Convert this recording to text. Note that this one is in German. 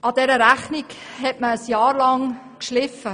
An dieser Rechnung hat man ein Jahr lang geschliffen.